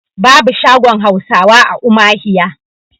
babu shagon Hausawa a umahiya